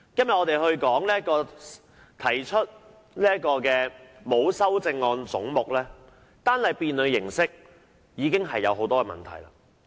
本會今天就沒有修正案的總目進行合併辯論，單單辯論形式已經出現了很多問題。